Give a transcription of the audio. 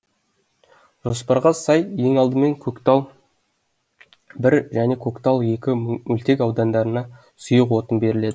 жоспарға сай ең алдымен көктал бір және көктал екі мөлтек аудандарына сұйық отын беріледі